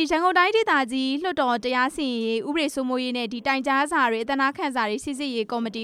ရန်ကုန်တိုင်းဒေသကြီးလွှတ်တော် တရားစီရင်ရေး၊ တရားဥပဒေ စိုးမိုးရေးနဲ့ တိုင်ကြားစာများ၊ အသနားခံစာများ စိစစ်ရေးကော်မတီ